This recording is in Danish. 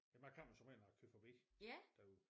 Jamen jeg kom og så med når jeg kørte forbi derude